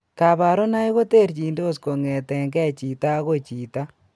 Kabarunoik koterchindos kong'etengei chito agoi chito